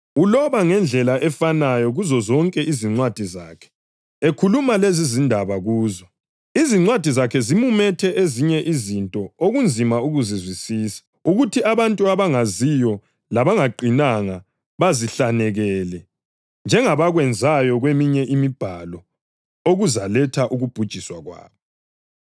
Uloba ngendlela efanayo kuzozonke izincwadi zakhe, ekhuluma lezizindaba kuzo. Izincwadi zakhe zimumethe ezinye izinto okunzima ukuzizwisisa, okuthi abantu abangaziyo labangaqinanga bazihlanekele, njengabakwenzayo kweminye iMibhalo, okuzaletha ukubhujiswa kwabo.